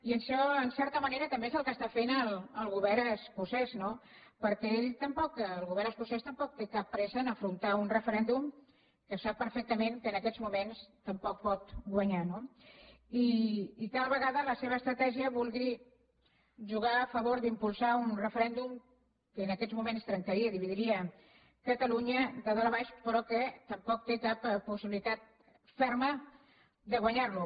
i això en certa manera també és el que està fent el govern escocès no perquè ell el govern escocès tampoc no té cap pressa per afrontar un referèndum que sap perfectament que en aquests moments tampoc pot guanyar no i tal vegada la seva estratègia vulgui jugar a favor d’impulsar un referèndum que en aquests moments trencaria i dividiria catalunya de dalt a baix però que tampoc té cap possibilitat ferma de guanyar lo